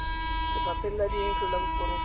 lefapheng la dintlo la porofense